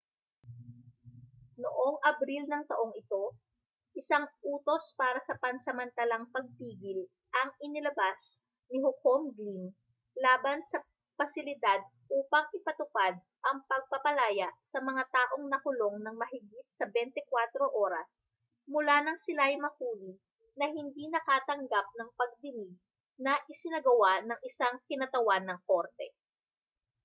noong abril ng taong ito isang utos para sa pansamantalang pagpigil ang inilabas ni hukom glynn laban sa pasilidad upang ipatupad ang pagpapalaya sa mga taong nakulong nang mahigit sa 24 oras mula nang sila ay mahuli na hindi nakatanggap ng pagdinig na isinagawa ng isang kinatawan ng korte